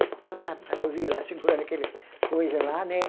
Então a Noiva ia lá, segurava aquele coisa lá, né?